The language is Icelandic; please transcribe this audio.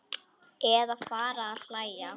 Eða fara að hlæja.